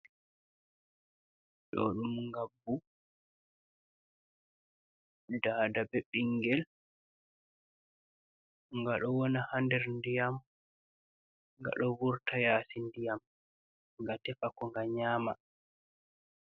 Ɗ'o ɗum ngabbu, daada bee ɓingel nga ɗo wona haa nder ndiyam nga ɗo vurta yassi ndiyam ga tefa ko nga nyaama.